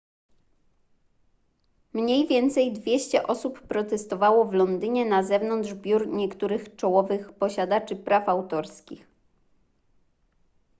mniej więcej 200 osób protestowało w londynie na zewnątrz biur niektórych czołowych posiadaczy praw autorskich